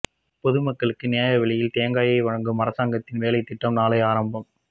பொதுமக்களுக்கு நியாய விலையில் தேங்காயை வழங்கும் அரசாங்கத்தின் வேலைத்திட்டம் நாளை ஆரம்பம்